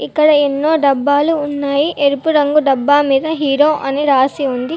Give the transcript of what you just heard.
ఇక్కడ ఎన్నో డబ్బాలు ఉన్నాయి ఎరుపు రంగు డబ్బా మీద హీరో అని రాసి ఉంది.